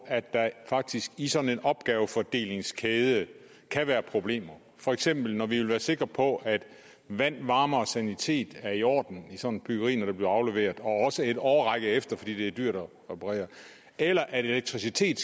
at der faktisk i sådan en opgavefordelingskæde kan være problemer for eksempel når vi vil være sikre på at vand varme og sanitet er i orden i sådan et byggeri når det bliver afleveret og også en årrække efter fordi det er dyrt at reparere eller at elektricitet